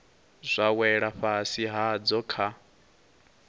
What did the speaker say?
zwa wela fhasi hadzo kha